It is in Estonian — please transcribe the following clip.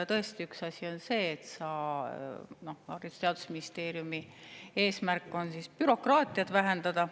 Tõesti, üks asi on see, et Haridus‑ ja Teadusministeeriumi eesmärk on bürokraatiat vähendada.